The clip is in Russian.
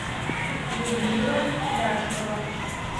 людмила ляшкова